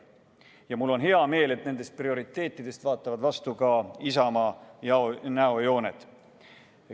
Ja mul on hea meel, et nendest prioriteetidest vaatavad vastu ka Isamaa näojooned.